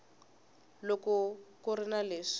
loko ku ri na leswi